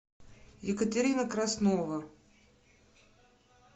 екатерина краснова